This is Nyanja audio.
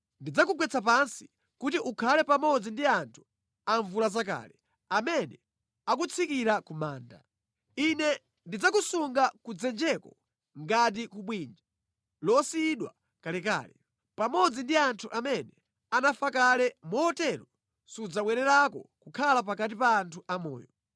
Ndidzakugwetsa pansi kuti ukhale pamodzi ndi anthu amvulazakale amene akutsikira ku manda. Ine ndidzakusunga ku dzenjeko ngati ku bwinja losiyidwa kalekale, pamodzi ndi anthu amene anafa kale motero sudzabwererako kukhala pakati pa anthu amoyo.